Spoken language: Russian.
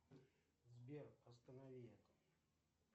сбер останови